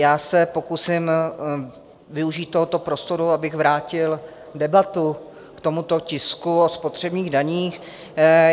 Já se pokusím využít tohoto prostoru, abych vrátil debatu k tomuto tisku o spotřebních daních.